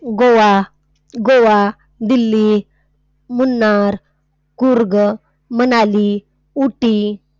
Goa. Goa, Delhi, Munnar, Coorg, Manali, Ooty.